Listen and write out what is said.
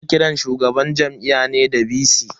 Ana kiran shugaban Jami'a ne da "VC".